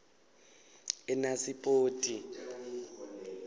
enasipoti